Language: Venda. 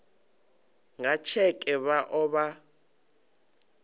nga tsheke vha o vha